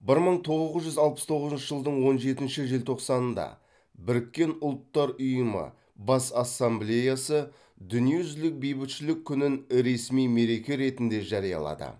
бір мың тоғыз жүз алпыс тоғызыншы жылдың он жетінші желтоқсанында біріккен ұлттар ұйымы бас ассамблеясы дүниежүзілік бейбітшілік күнін ресми мереке ретінде жариялады